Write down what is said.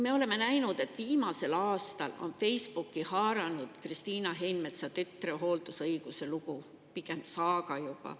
Me oleme näinud, et viimasel aastal on Facebooki haaranud Kristiina Heinmetsa tütre hooldusõiguse lugu, pigem saaga juba.